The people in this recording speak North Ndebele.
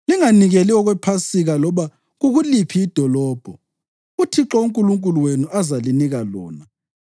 Linganikeli okwePhasika loba kukuliphi idolobho uThixo uNkulunkulu wenu azalinika lona